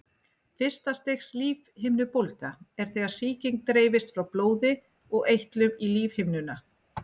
Fyrsta stigs lífhimnubólga er þegar sýking dreifist frá blóði og eitlum í lífhimnuna.